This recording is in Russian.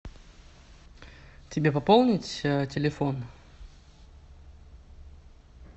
тебе пополнить телефон